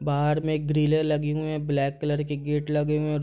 बाहर में ग्रिले लगी हुए है ब्लैक कलर के गेट लगे हुए --